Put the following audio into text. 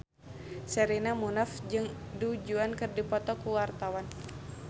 Sherina Munaf jeung Du Juan keur dipoto ku wartawan